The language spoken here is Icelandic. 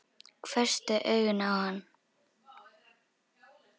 Hvessti augun á hann.